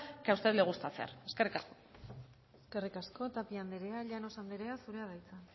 que a usted le gusta hacer eskerrik asko eskerrik asko tapia andrea llanos andrea zurea da hitza